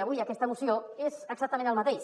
d’avui aquesta moció és exactament el mateix